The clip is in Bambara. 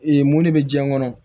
mun de bɛ jiyɛn kɔnɔ